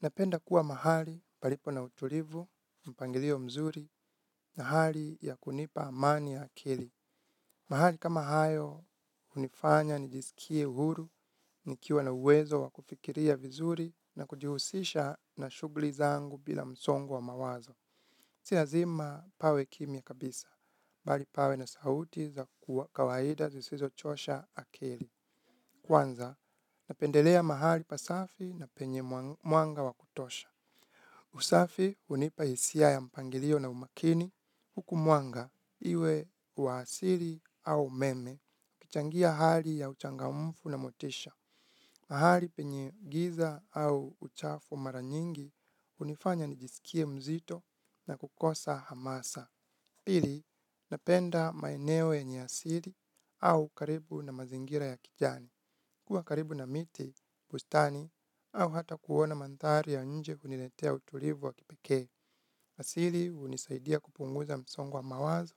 Napenda kuwa mahali palipo na utulivu, mpangilio mzuri, na hali ya kunipa amani ya akili. Mahali kama hayo hunifanya nijisikie uhuru, nikiwa na uwezo wa kufikiria vizuri na kujihusisha na shughuli zangu bila msongo wa mawazo. Si lazima pawe kimya kabisa, bali pawe na sauti za kawaida zisizochosha akili. Kwanza, napendelea mahali pasafi na penye mwanga wa kutosha. Usafi hunipa hisia ya mpangilio na umakini huku mwanga iwe wa asili au umeme ukichangia hali ya uchangamfu na motisha. Mahali penye giza au uchafu mara nyingi hunifanya nijisikie mzito na kukosa hamasa. Pili, napenda maeneo yenye asili au karibu na mazingira ya kijani. Kuwa karibu na miti, bustani au hata kuona mandhari ya nje huniletea utulivu wa kipekee. Asili hunisaidia kupunguza msongo wa mawazo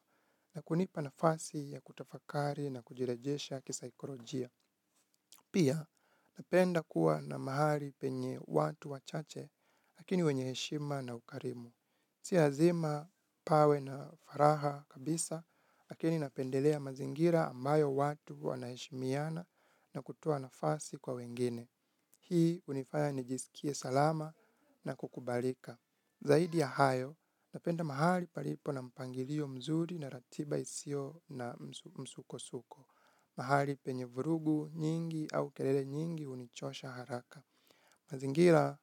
na kunipa nafasi ya kutafakari na kujirejesha kisaikolojia. Pia, napenda kuwa na mahali penye watu wachache, lakini wenye heshima na ukarimu. Si lazima pawe na furaha kabisa, lakini napendelea mazingira ambayo watu wanaheshimiana na kutoa nafasi kwa wengine. Hii hunifanya nijisikie salama na kukubalika. Zaidi ya hayo, napenda mahali palipo na mpangilio mzuri na ratiba isiyo na msukosuko. Mahali penye vurugu nyingi au kelele nyingi hunichosha haraka. Mazingira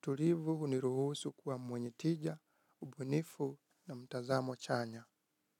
tulivu huniruhusu kuwa mwenye tija, ubunifu na mtazamo chanya.